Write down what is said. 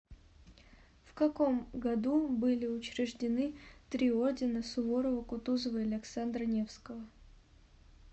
в каком году были учреждены три ордена суворова кутузова и александра невского